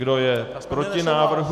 Kdo je proti návrhu?